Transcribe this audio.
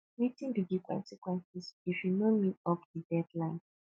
wetin be di consequences if you no meet up di deadline